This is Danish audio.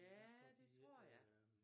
Ja det tror jeg